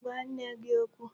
Gwa nne gị okwu!